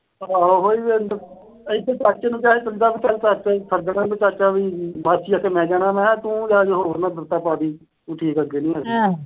ਆਹੋ ਵੀ ਇੱਥੇ ਚਾਚਾ ਨੂੰ ਕਿਹਾ ਸੀ ਵੀ ਚਾਚਾ ਈ ਫੱਗੜ ਆ। ਚਾਚਾ ਵੀ ਬਸ ਜੀ ਅਖੇ ਮੈਂ ਜਾਣਾ। ਮੈਂ ਕਿਹਾ ਕਿਤੇ ਤੂੰ ਹੋਰ ਨਾ ਬਿਪਤਾ ਪਾ ਦੇਈ। ਵੀ ਠੀਕ ਅੱਗੇ ਨੀ ਹੈਗਾ।